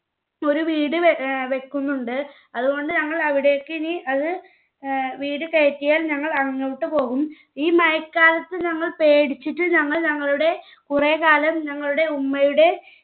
ഒരു വീട് വെ ഏർ വെക്കുന്നുണ്ട്. അതുകൊണ്ട് ഞങ്ങൾ അവിടേക്ക് ഇനി അത് ഏർ വീട് കെയറ്റിയാൽ ഞങ്ങൾ അങ്ങോട്ട് പോകും ഈ മഴക്കാലത്ത് ഞങ്ങൾ പേടിച്ചിട്ട് ഞങ്ങൾ ഞങ്ങളുടെ കുറേ കാലം ഞങ്ങളുടെ ഉമ്മയുടെ